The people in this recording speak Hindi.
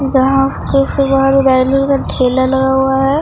जहां का ठेला लगा हुआ है।